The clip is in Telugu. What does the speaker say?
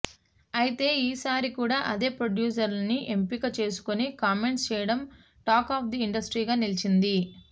అయితే ఈ సారి కూడా అదే ప్రొడ్యూసర్ను ఎంపిక చేసుకొని కామెంట్స్ చేయడం టాక్ ఆఫ్ ది ఇండస్ట్రీగా నిలిచింది